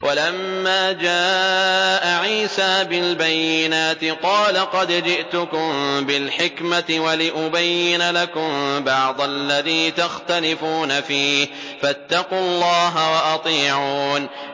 وَلَمَّا جَاءَ عِيسَىٰ بِالْبَيِّنَاتِ قَالَ قَدْ جِئْتُكُم بِالْحِكْمَةِ وَلِأُبَيِّنَ لَكُم بَعْضَ الَّذِي تَخْتَلِفُونَ فِيهِ ۖ فَاتَّقُوا اللَّهَ وَأَطِيعُونِ